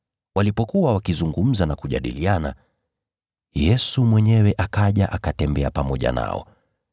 Walipokuwa wakizungumza na kujadiliana, Yesu mwenyewe akaja akatembea pamoja nao,